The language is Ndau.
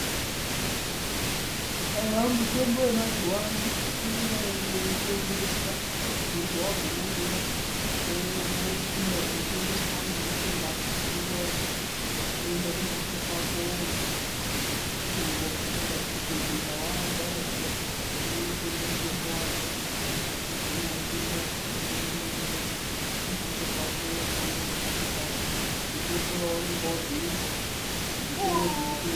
Mitombo yemazuwa ano, inonga yeitengeswa ,munhu waguma zviya wopinda munotengeswa wotenga hako mutombo wako, woenda kumhatso kwako woomwa, nyangwe ukasenda kuchibhehlera warwara zviya unotenga mutombo wako woomwa uri kumhatso kwako mutombo uye waunenge wabhuyirwa.